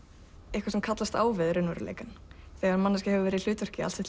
eitthvað sem kallast á við raunveruleikann þegar manneskja hefur verið í hlutverki allt sitt